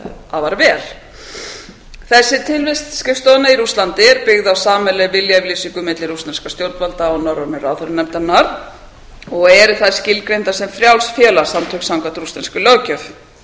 afar vel þessi tilvist skrifstofunnar í rússlandi er byggð á sameiginlegri viljayfirlýsingu mikilli rússneskra stjórnvalda og norrænu ráðherranefndarinnar eru þær skilgreindar sem frjáls félagasamtök samkvæmt rússneskri löggjöf